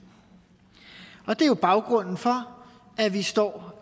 og det er jo baggrunden for at vi står